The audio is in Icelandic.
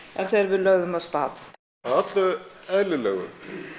en þegar við lögðum af stað að öllu eðlilegu